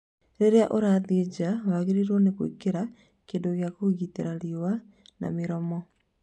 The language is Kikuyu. Rĩrĩa ũrathiĩ nja, wagĩrĩrwo nĩ gwakĩra kĩndũ gĩa kũgitĩra riũa na mĩromo